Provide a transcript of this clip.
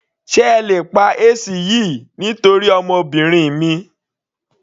Sé ẹ lè pa AC yìí nítorí ọmọbìnrin mi.